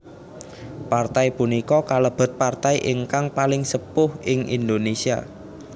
Partai punika kalebet partai ingkang paling sepuh ing Indonesia